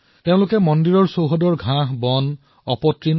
তেওঁলোকে মন্দিৰ পৰিসৰৰ জংগলসমূহ পৰিষ্কাৰ কৰিলে